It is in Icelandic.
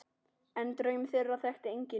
En draum þeirra þekkti enginn.